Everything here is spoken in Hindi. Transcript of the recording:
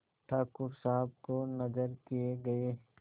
ठाकुर साहब को नजर किये गये